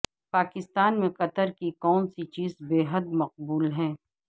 پاکستان میں قطر کی کون سی چیز بے حد مقبول ہے